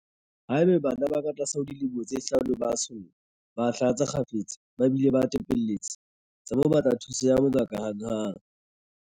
Haeba bana ba katlase ho dilemo tse hlano ba tsholla, ba hlatsa kgafetsa ba bile ba tepelletse, tsa mo batla thuso ya bongaka hanghang.